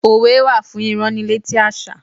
Òwe wá fún ìránnilétí àṣà.